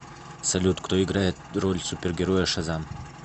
салют кто играет роль супергероя шазам